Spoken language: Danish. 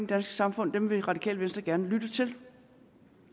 danske samfund vil radikale venstre gerne lytte til